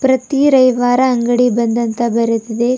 ಪ್ರತಿ ರವಿವಾರ ಅಂಗಡಿ ಬಂದ್ ಎಂದು ಬರೆದಿದೆ.